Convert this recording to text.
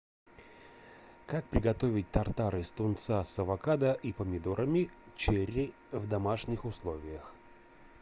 как приготовить тартар из тунца с авокадо и помидорами черри в домашних условиях